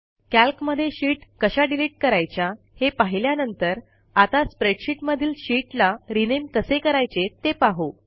कॅल्कमध्ये sheet कशा delete करायच्या हे पाहिल्यांनतर आता स्प्रेडशीटमधील शीटला रिनेम कसे करायचे ते पाहू